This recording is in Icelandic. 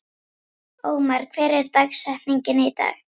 Ómar, hver er dagsetningin í dag?